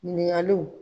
Ɲininkaliw